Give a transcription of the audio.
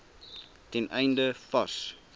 ten einde vars